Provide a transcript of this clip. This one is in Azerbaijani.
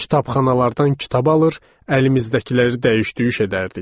Kitabxanalardan kitab alır, əlimizdəkiləri dəyiş-düyüş edərdik.